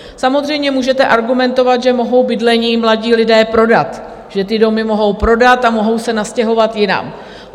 Samozřejmě můžete argumentovat, že mohou bydlení mladí lidé prodat, že ty domy mohou prodat a mohou se nastěhovat jinam.